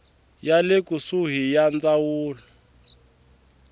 ya le kusuhani ya ndzawulo